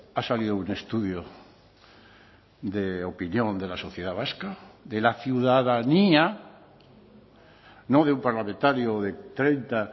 ha salido un estudio de opinión de la sociedad vasca de la ciudadanía no de un parlamentario o de treinta